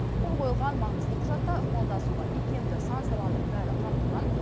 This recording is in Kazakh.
қол қойылған маңызды құжатта ықпалдасуға икемді сан саланың бәрі қамтылған